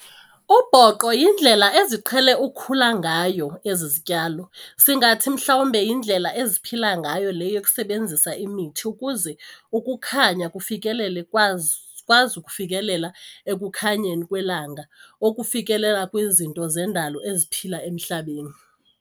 Obhoqo yindlela eziqhele ukukhula ngayo ezi zityalo, singathi mhlawumbi yindlela eziphila ngayo le yokusebenzisa imithi ukuze ukukhaynya kufikelele kwazi ukufikelela ekukhanyeni kwelanga okufikelela kwizinto zendalo eziphila emhlabeni.